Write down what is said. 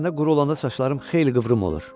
Əslində quru olanda saçlarım xeyli qıvrım olur.